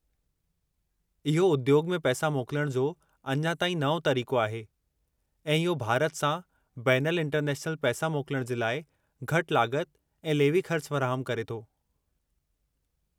इहो उद्योग में पैसा मोकलण जो अञां ताईं नओं तरीक़ो आहे, ऐं इहो भारत सां बैनल इंटरनेशनल पैसा मोकलण जे लाइ घटि लाॻत ऐं लेवी ख़र्च फ़राहमु करे थो।